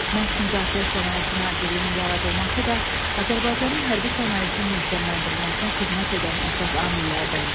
Məhz Müdafiə Sənayesi Nazirliyinin yaradılması da Azərbaycanın hərbi sənayesinin möhkəmləndirilməsinə xidmət edən əsas amillərdəndir.